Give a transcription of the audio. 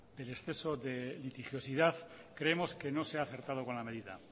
del exceso de litigiosidad creemos que no se ha acertado con la medida